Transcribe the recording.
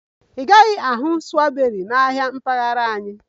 Ị gaghị ahụ strawberries na ahịa mpaghara anyị